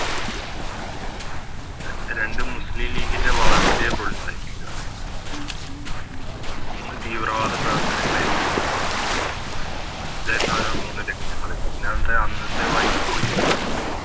രണ്ട് മുസ്ലിം ലീഗിൻറെ വളർച്ചയെ പ്രോത്സാഹിപ്പിക്കുക മൂന്ന് തീവ്രവാദ പ്രവർത്തനങ്ങളെ ഏറ്റെടുക്കുക ഇതാരുന്നു മൂന്ന് ലക്ഷ്യങ്ങള് പിന്നത് അന്നത്തെ Viceroy യും